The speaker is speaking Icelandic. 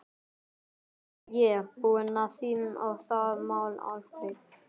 Nú er ég búinn að því og það mál afgreitt.